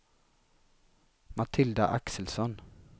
Matilda Axelsson